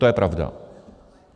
To je pravda.